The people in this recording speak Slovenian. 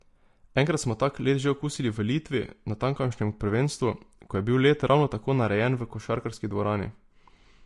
Enkrat smo tak led že okusili v Litvi, na tamkajšnjem prvenstvu, ko je bil led ravno tako narejen v košarkarski dvorani.